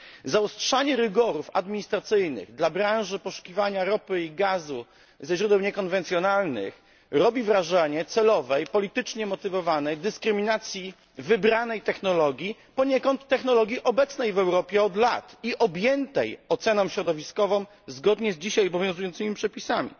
Zaostrzanie rygorów administracyjnych dla branży poszukiwania ropy i gazu ze źródeł niekonwencjonalnych robi wrażenie celowej, politycznie motywowanej dyskryminacji wybranej technologii poniekąd technologii obecnej od lat w Europie i objętej oceną środowiskową zgodnie z dzisiaj obowiązującymi przepisami.